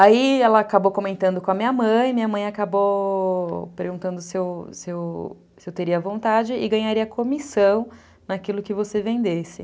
Aí ela acabou comentando com a minha mãe, minha mãe acabou perguntando se eu se eu teria vontade e ganharia comissão naquilo que você vendesse.